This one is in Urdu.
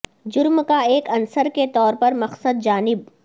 جرم کا ایک عنصر کے طور پر مقصد جانب